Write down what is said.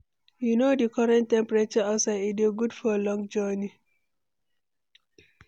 You know di current temperature outside, e dey good for long journey?